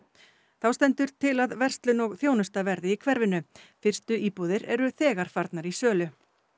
þá stendur til að verslun og þjónusta verði í hverfinu fyrstu íbúðir eru þegar farnar í sölu